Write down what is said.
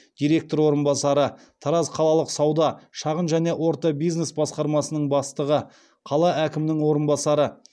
директор орынбасары тараз қалалық сауда шағын және орта бизнес басқармасының бастығы қала әкімінің орынбасары